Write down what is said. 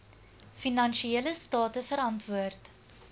finansiële state verantwoord